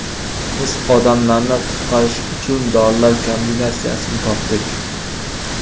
Biz odamlarni qutqarish uchun dorilar kombinatsiyasini topdik.